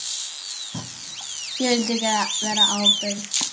Ég vildi vera ábyrg.